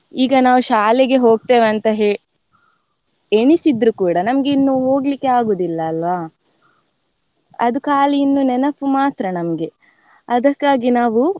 ಈಗ ನಾವ್ ಶಾಲೆಗೆ ಹೋಗ್ತೇವೆ ಅಂತ ಹೆ~ ಎಣಿಸಿದ್ರು ಕೂಡಾ ನಮ್ಗೆ ಇನ್ನು ಹೊಗ್ಲಿಕ್ಕೆ ಆಗುವುದಿಲ್ಲ ಅಲ್ವಾ ಅದು ಖಾಲಿ ಇನ್ನೂ ನೆನಪು ಮಾತ್ರ ನಮ್ಗೆ ಅದಕ್ಕಾಗಿ ನಾವು.